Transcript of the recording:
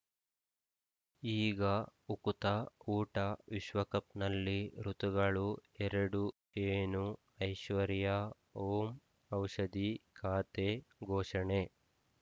ಈಗ ಉಕುತ ಊಟ ವಿಶ್ವಕಪ್‌ನಲ್ಲಿ ಋತುಗಳು ಎರಡು ಏನು ಐಶ್ವರ್ಯಾ ಓಂ ಔಷಧಿ ಖಾತೆ ಘೋಷಣೆ